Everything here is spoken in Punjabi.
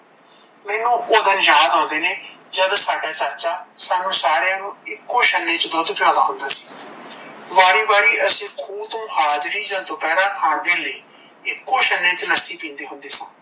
ਮੈਂਨੂੰ ਓਹ ਦਿਨ ਯਾਦ ਆਉਂਦੇ ਨੇ ਜਦੋਂ ਸਾਡਾ ਚਾਚਾ ਸਾਨੂੰ ਸਾਰਿਆ ਨੂੰ ਇੱਕੋ ਛਨੇ ਚ ਦੁੱਧ ਪਿਓਦਾ ਹੁੰਦਾ ਸੀ ਵਾਰੀ ਵਾਰੀ ਅਸੀਂ ਖੂ ਤੋਂ ਹਾਜਰੀ ਜਾ ਦੁਪਹਿਰਾ ਆ ਕੇ ਇੱਕੋ ਛਨੇ ਚ ਲੱਸੀ ਪੀਂਦੇ ਹੁੰਦੇ ਸਾਂ।